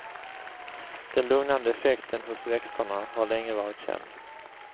Den lugnande effekten hos växterna har länge varit känd.